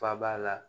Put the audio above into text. Faaba la